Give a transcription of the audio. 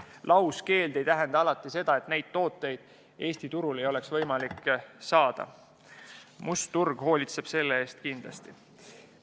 Lauskeeld ei tähenda seda, et neid tooteid Eesti turul ei ole võimalik saada – must turg hoolitseb selle eest kindlasti.